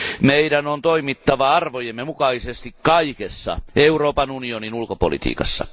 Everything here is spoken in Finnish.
Meidän on toimittava arvojemme mukaisesti kaikessa Euroopan unionin ulkopolitiikassa.